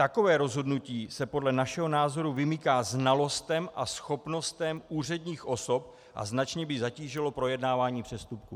Takové rozhodnutí se podle našeho názoru vymyká znalostem a schopnostem úředních osob a značně by zatížilo projednávání přestupků."